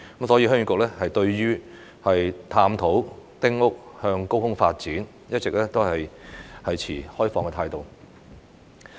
所以，鄉議局對於探討丁屋向高空發展，一直持開放態度。